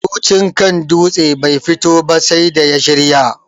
Murucin kan dutse bai fito ba sai da ya shirya